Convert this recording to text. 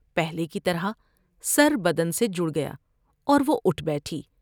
پہلے کی طرح سر بدن سے جڑ گیا اور و ہ اٹھ بیٹھی ۔